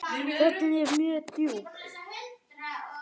Röddin var mjög djúp.